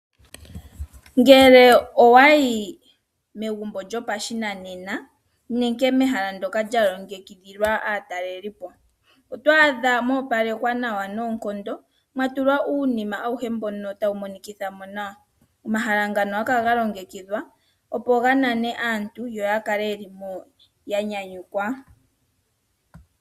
Ngele owayi megumbo lyopashinanena nenge mehala ndoka lyalongekidhilwa aataleli po, oto adha mwa opalekwa nawa noonkondo mwatulwa uunima awuhe mbono tawumonekithamo nawa. Omahala ngano ohagakala galongekidhwa opo ganane aantu yoyakale yelimo yanyanyukwa.